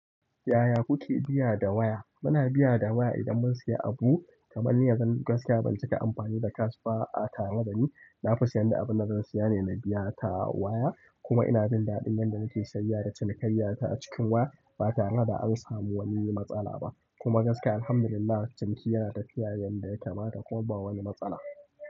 Yaya kuke biya da waya? Muna biya da waya idan mun siya abu. Kaman ni yanzu gasiya ban cika amfani da cash ba a tareda ni na sayen duk abun da zan siya ne na biya ta waya kuma ina jin daɗin yanda muke sayayya da cinikayyata a cikin waya. Ba tare da an samu wani matsala ba. Kuma gaskiya alhamdulillah, ciniki yana tafiya yanda ya kamata kuma ba wani matsala.